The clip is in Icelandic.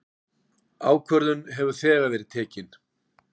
Ákvörðun hefur þegar verið tekin.